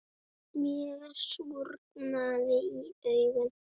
Mér súrnaði í augum.